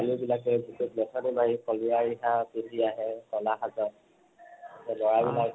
ছোৱালী বিলাকে বুকুত মেখেলা মাৰি কলিয়া ৰিহা পিন্ধি আহে কলা সাজত আৰু লৰা বিলাকে